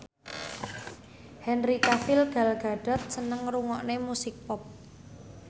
Henry Cavill Gal Gadot seneng ngrungokne musik pop